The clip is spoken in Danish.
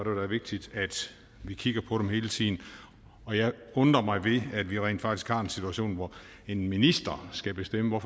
vigtigt at vi kigger på dem hele tiden og jeg undrer mig ved at vi rent faktisk har en situation hvor en minister skal bestemme hvad